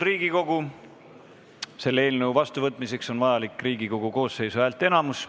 Selle eelnõu vastuvõtmiseks on vajalik Riigikogu koosseisu häälteenamus.